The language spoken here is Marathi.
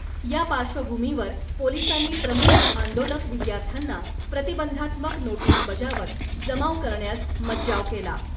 या पार्श्वभूमीवर पोलिसांनी प्रमुख आंदोलक विद्यार्थ्यांना प्रतिबंधात्मक नोटीस बजावत , जमाव करण्यास मज्जाव केला .